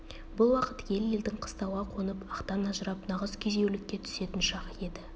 бұл уақыт ел-елдің қыстауға қонып ақтан ажырап нағыз күйзеулікке түсетін шағы еді